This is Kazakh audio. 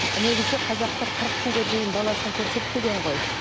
негізі қазақтар қырық күнге дейін баласын көрсетпеген ғой